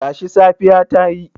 Tashi, safiya ta yi.